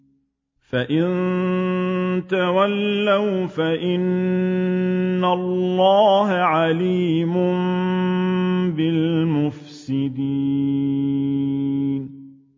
فَإِن تَوَلَّوْا فَإِنَّ اللَّهَ عَلِيمٌ بِالْمُفْسِدِينَ